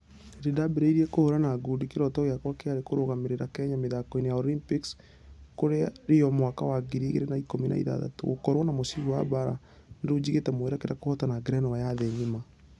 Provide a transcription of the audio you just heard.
Hĩndĩ ndambereirie kũhũrana ngundi kĩroto giakwa kĩarĩ kũrũgamĩrĩra kenya mĩthako-inĩ ya olympics kũrĩa rio mwaka wa ngiri igĩrĩ na ikũmi na ithathatũ. Gũkorwo na mũcibi wa baara na rĩu jigĩte mwerekera kũhotana ngerenwa ya thĩ ngima.